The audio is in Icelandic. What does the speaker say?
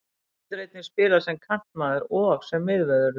Hann getur einnig spilað sem kantmaður og sem miðvörður.